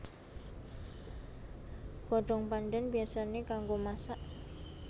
Godhong pandhan biyasané kanggo masak